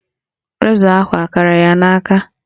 Rezọ ahụ kara ya n'aka